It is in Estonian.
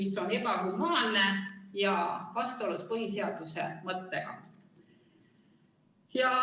See on ebahumaanne ja vastuolus põhiseaduse mõttega.